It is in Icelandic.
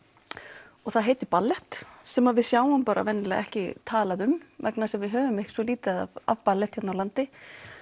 og það heitir ballett sem við sjáum venjulega ekki talað um vegna þess að við höfum svo lítið af ballett hérna á landi